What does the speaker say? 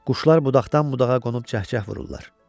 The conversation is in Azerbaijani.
Quşlar budaqdan budağa qonub cəkcəh vururlar.